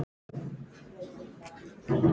Bræður mínir og systur.